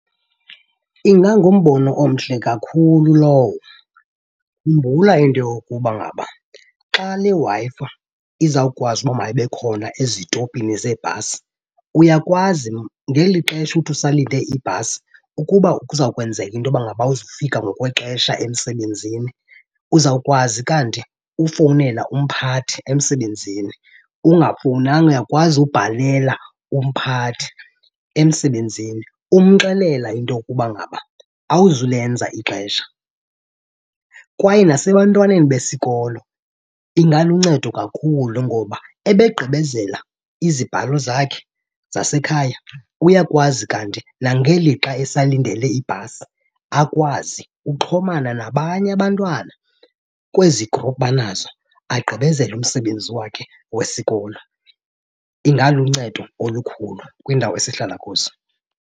Ingangumbono omhle kakhulu lowo. Khumbula into yokuba ngaba xa le Wi-Fi izawukwazi ubaba mayibe khona ezitopini zeebhasi uyakwazi ngeli xesha uthi usalinde ibhasi ukuba kuza kwenzeka into yoba ngaba awuzofika ngokwexesha emsebenzini, uzawukwazi kanti ufowunela umphathi emsebenzini. Ungafowunanga uyakwazi ubhalela umphathi emsebenzini umxelela into yokuba ngaba awuzulenza ixesha. Kwaye nasebantwaneni besikolo ingaluncedo kakhulu ngoba ebegqibezela izibhalo zakhe zasekhaya, uyakwazi kanti nengeli xa esalindele ibhasi akwazi xhomana nabanye abantwana kwezi group banazo, agqibezele umsebenzi wakhe wesikolo. Ingaluncedo olukhulu kwiindawo esihlala kuzo.